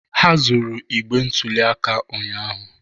Ha zuru igbe ntụli aka ụnyahụ.